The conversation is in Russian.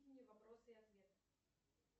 вопросы и ответы